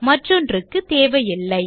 மற்றொன்றுக்கு தேவையில்லை